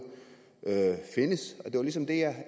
findes det var ligesom det